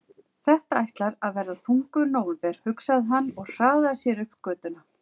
Þetta ætlar að verða þungur nóvember, hugsaði hann og hraðaði sér upp götuna.